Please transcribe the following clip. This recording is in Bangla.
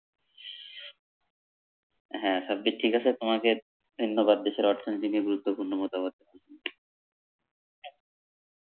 হা সাব্বির ঠিক আছে তোমাকে ধন্যবাদ দেশের অর্থনীতি নিয়ে গুরুত্বপূর্ণ মতামত।